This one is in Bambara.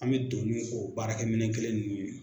An bɛ don n'u ye k'o baarakɛminɛn kelen ninnu